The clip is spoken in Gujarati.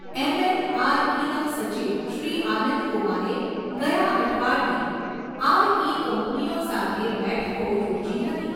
એમએનઆરઈના સચિવ શ્રી આનંદ કુમારે ગયા અઠવાડિયે આરઈ કંપનીઓ સાથે બેઠકો યોજી હતી.